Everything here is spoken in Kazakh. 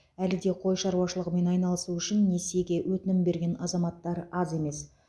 әлі де қой шаруашылығымен айналысу үшін несиеге өтінім берген азаматтар аз емес